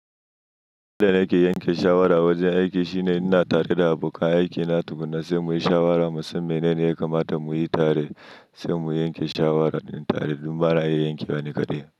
Wajen ake yanke shawara, wajen aiki shine ina tare da abokan aikina, tukunna sai muyi shawara, mu san menene ya kamata muyi tare sai mu yanke shawaran tare. Don bana iya yankewa ni kaɗai.